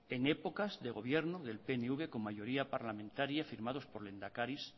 en épocas de gobierno del pnv con mayoría parlamentaria firmados por el lehendakaris